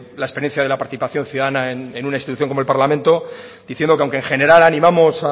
la experiencia de la participación ciudadana en una institución como el parlamento diciendo que aunque en general animamos